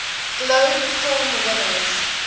globe film winners